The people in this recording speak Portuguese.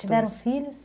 Tiveram filhos?